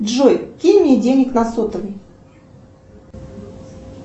джой кинь мне денег на сотовый